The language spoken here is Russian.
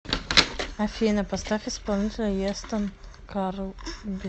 афина поставь исполнителя истон корбин